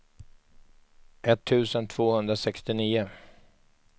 etttusen tvåhundrasextionio